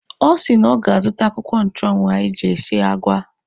Ọ sị na ọ ga-azụta akwụkwọ nchụanwụ anyị ji esi àgwà.